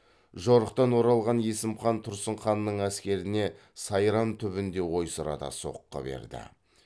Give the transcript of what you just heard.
жорықтан оралған есім хан тұрсын ханның әскеріне сайрам түбінде ойсырата соққы берді